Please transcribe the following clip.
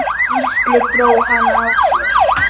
Gísli dró hana að sér.